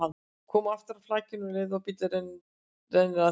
Kom aftur að flakinu um leið og bíllinn renndi að því.